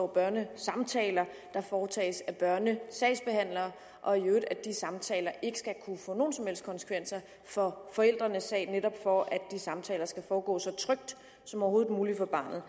børnesamtaler der foretages af børnesagsbehandlere og at de samtaler ikke skal kunne få nogen som helst konsekvenser for forældrenes sag netop for at de samtaler skal foregå så trygt som overhovedet muligt for barnet